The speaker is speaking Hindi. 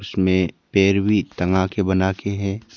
इसमें पेड़ भी तंगा के बनाके है।